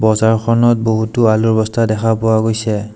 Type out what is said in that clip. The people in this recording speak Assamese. বজাৰখনত বহুতো আলুৰ বস্তা দেখা পোৱা গৈছে।